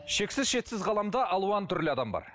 шексіз шетсіз ғаламда алуан түрлі адам бар